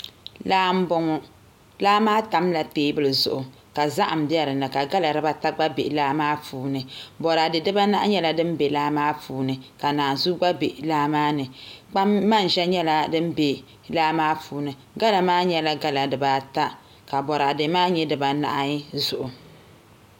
Laa n boŋo laa maa tamla teebuli zuɣu ka zaham bɛ dinni ka gala dibata gba bɛ laa maa puuni boraadɛ dibanahi gba nyɛla din bɛ laa maa puuni ka naanzuu gba bɛ laa maa ni kpam manʒa gba nyɛla din bɛ laa maa puuni gala maa nyɛla gala dibaata ka boraadɛ maa nyɛ dibaanahi zuɣu